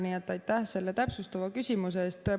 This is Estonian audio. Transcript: Nii et aitäh selle täpsustava küsimuse eest!